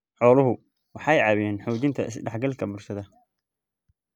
Xooluhu waxay caawiyaan xoojinta is-dhexgalka bulshada.